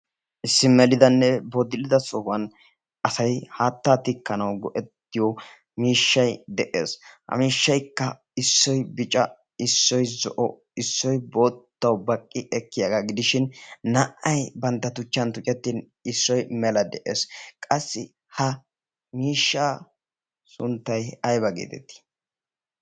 Issi melidanne sohuwan asay haattaa tikkanawu go'ettiyo miishshay de'ees. Ha miishshaykka issoy bicca issoy zo'o issoy boottawu baqqi ekkiyaga gidishin naa'ay bantta tuchchan tuccettin issoy mela de'ees. Qassi ha miishshaa sunttay ayba geetetti?